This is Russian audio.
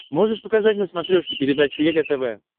можешь показать на смотрешке передачу егэ тв